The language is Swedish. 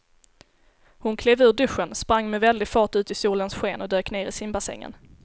Hon klev ur duschen, sprang med väldig fart ut i solens sken och dök ner i simbassängen.